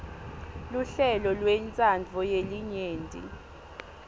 luhlelo lwentsandvo yelinyenti